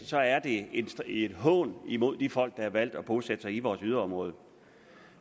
så er det en hån imod de folk der har valgt at bosætte sig i vores yderområder